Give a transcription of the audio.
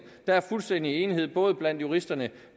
der er fuldstændig enighed både blandt juristerne